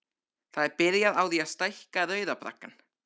Það er byrjað á því að stækka Rauða braggann.